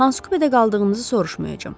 Hansı kupedə qaldığınızı soruşmayacam.